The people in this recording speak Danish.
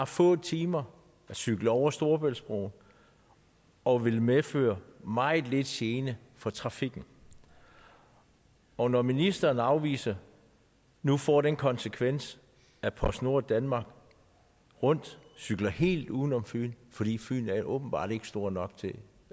få timer at cykle over storebæltsbroen og vil medføre meget lidt gene for trafikken og når ministerens afvisning nu får den konsekvens at postnord danmark rundt cykler helt uden om fyn fordi fyn åbenbart ikke er stor nok til